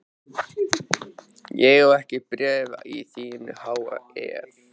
Ég á ekki bréf í þínu há effi.